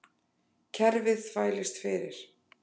Kerfið þvælist fyrir